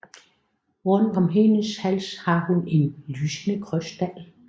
Rundt om hendes hals har hun en lysende krystal